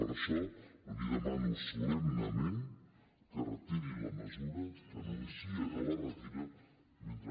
per això li demano solemnement que retiri la mesura que anuncia que la retira mentre